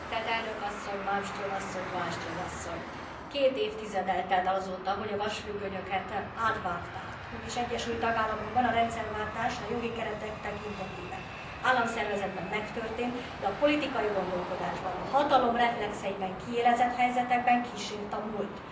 Tisztelt elnök asszony, Malmström asszony, Wallström asszony! Két évtized telt el azóta, hogy a vasfüggönyöket átvágták, mégis egyes új tagállamokban a rendszerváltás a jogi keretek tekintetében, államszervezetben megtörtént, de a politikai gondolkodásban, a hatalom reflexeiben kiélezett helyzetekben kísért a múlt.